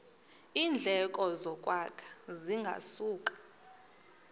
iindleko zokwakha zingasuka